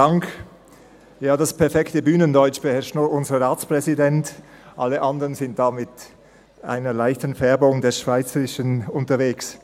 Das perfekte Bühnendeutsch beherrscht unser Ratspräsident – alle anderen sind mit einer Färbung des Schweizerischen unterwegs.